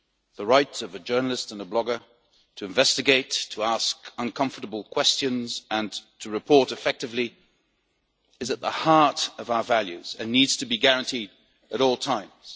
The rights of a journalist and blogger to investigate, to ask uncomfortable questions and to report effectively is at the heart of our values and needs to be guaranteed at all times.